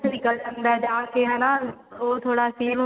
ਨਿੱਕਲ ਜਾਂਦਾ ਹੈ ਆਕੇ ਹਨਾ ਉਹ ਥੋੜਾ feel